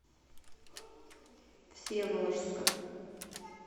всеволожска